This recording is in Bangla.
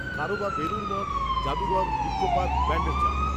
কারও, বা বেলুড় মঠ, জাদুঘর, নিক্কো পার্ক, ব্যাণ্ডেল, চার্চ